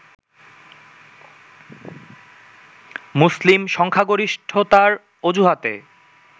মুসলিম সংখ্যাগরিষ্ঠতার অজুহাতে